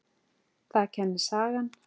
Það kennir sagan.